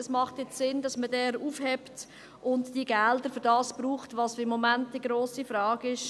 Es macht Sinn, dass man den jetzt aufhebt und die Gelder für das braucht, was im Moment die grosse Frage ist: